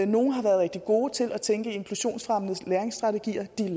nogle har været rigtig gode til at tænke i inklusionsfremmende læringsstrategier de er